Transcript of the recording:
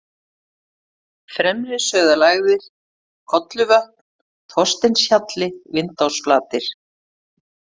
Fremri-Sauðalægðir, Kolluvötn, Þorsteinshjalli, Vindásflatir